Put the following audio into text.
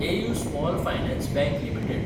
AU small finance bank limited